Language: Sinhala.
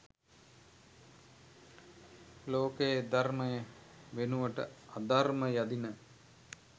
ලෝකයේ ධර්මය වෙනුවට අධර්ම යදින